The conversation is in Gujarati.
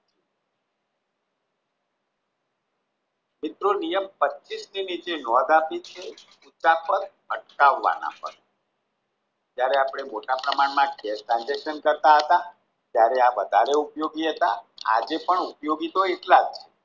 મિત્રો નિયમ પચીશની નીચે નોંધ આપી છે જયારે આપણે મોટા પ્રમાણમાં cash transaction કરતા હતા ત્યારે આ વધારે ઉપયોગી હતા આજે પણ ઉપયોગી એટલા જ છે